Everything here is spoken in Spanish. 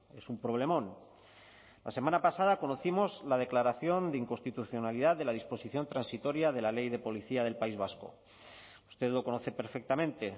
es un problemón la semana pasada conocimos la declaración de inconstitucionalidad de la disposición transitoria de la ley de policía del país vasco usted lo conoce perfectamente